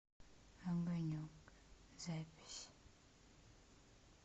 огонек запись